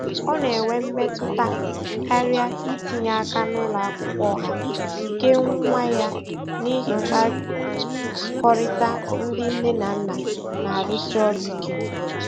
Ọ na-enwe mmetụta karịa itinye aka na ụlọ akwụkwọ ọha nke nwa ya n'ihi mkpakọrịta ndị nne na nna na-arụsi ọrụ ike.